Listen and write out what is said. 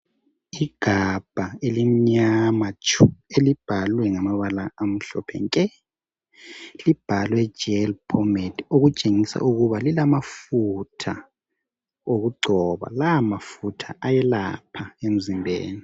Igabha elimnyama tshu elibhalwe ngamabala amhlophe nke libhalwe Gel Pomade okutshengisa ukuba lilamafutha okugcoba la mafutha ayelapha emzimbeni.